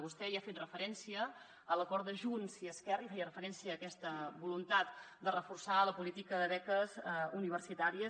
vostè hi ha fet referència a l’acord de junts i esquerra i feia referència a aques·ta voluntat de reforçar la política de beques universitàries